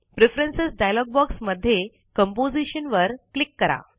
preference dialogue box मध्ये composition वर click करा